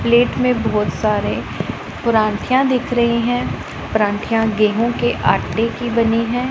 Plate में बहुत सारे प्रांठीया दिख रही हैं प्रांठीया गेहूं के आटे की बनी हैं।